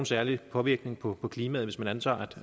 særlig påvirkning på klimaet hvis man antager